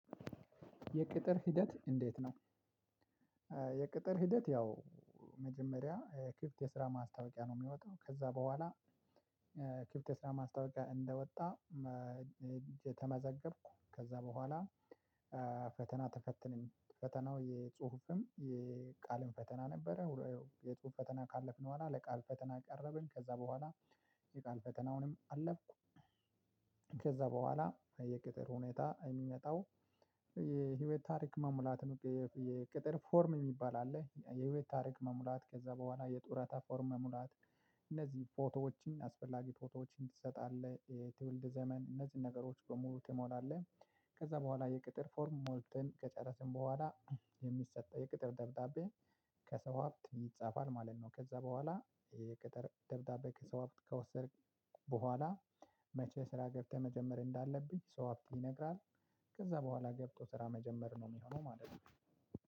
የቅጥር ሂደት እንዴት ነው? የቅጥር ሂደት ያው መጀመሪያ ክፍት የስራ ማስታወቂያ ነው የሚወጣው ከዛ በኋላ ክፍት የስራ ማስታወቂያ እንደወጣ። ተመዘገብኩ ከዛ በኋላ። ፈተና ተፈተንን ፈተናው የጽሁፍም የቃልም ፈተና ነበረ ሁለ የጽሁፍ ፈተና ካለፍን በኋላ ለቃል ፈተና ቀረብን ከዛ በኋላ የቃል ፈተናውንም አለፍኩ። ከዛ በኋላ የቅጥር ሁኔታ የሚመጣው የህይወት ታሪክ መሙላት ነው። የቅጥር ፎርም የሚባል አለ የህይወት ታሪክ መሙላት ከዛ በኋላ የጡረታ ፎርም መሙላት። እነዚህ ፎቶዎችን አስፈላጊ ፎቶዎችን ትሰጣለህ የትውልድ ዘመን እነዚህን ነገሮች በሙሉ ትሞላለህ። ከዛ በኋላ የቅጥር ፎርም ሞልተን ከጨረስን በኋላ የሚሰጠው የቅጥር ደብዳቤ። ከሰው ሀብት ይጻፋል ማለት ነው። ከዛ በኋላ የቅጥር ደብዳቤ ከሰው ሀብት ከወሰድክ በኋላ መቼ ስራ ገብተህ መጀመር እንዳለብህ ሰው ሀብት ይነግራል። ከዛ በኋላ ገብቶ ስራ መጀመር ነው የሚሆነው ማለት ነው።